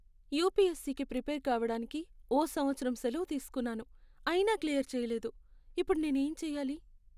యుపిఎస్సికి prepare కావడానికి ఓ సంవత్సరం సెలవు తీసుకున్నాను, అయినా క్లియర్ చేయలేదు. ఇప్పుడు నేనేం చెయ్యాలి?